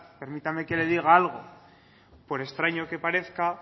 permítame que le diga algo por extraño que parezca